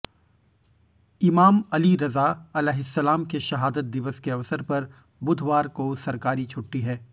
इमाम अली रज़ा अलैहिस्सलाम के शहादत दिवस के अवसर पर बुधवार को सरकारी छुट्टी है